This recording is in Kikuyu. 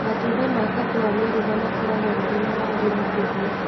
Matunda ma kahũwa meruha makoragwo marĩ ma rangi mũtune.